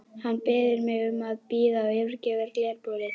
Hann biður mig að bíða og yfirgefur glerbúrið.